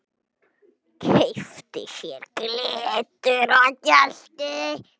Keypti sér gyltur og gelti.